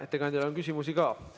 Ettekandjale on küsimusi ka.